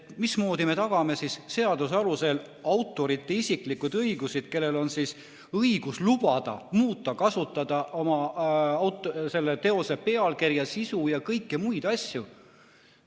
Mismoodi me tagame seaduse alusel autorite isiklikud õigused, kellel on õigus lubada muuta ja kasutada oma teose pealkirja, sisu ja kõiki muid asju?